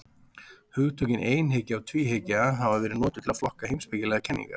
Hugtökin einhyggja og tvíhyggja hafa verið notuð til að flokka heimspekilegar kenningar.